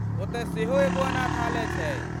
ओतय सेहो एगो अनाथालय छै।